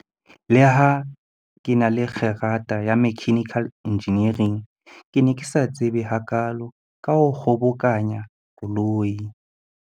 Leha ke na le kgerata ya mechanical engineering, ke ne ke sa tsebe hakaalo ka ho kgobokanya koloi.